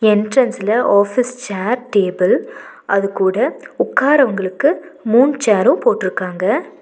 என்ட்ரன்ஸ்ல office chair table அது கூட உக்காரவங்களுக்கு மூண் சேரும் போட்ருக்காங்க.